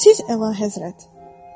Siz, Əlahəzrət.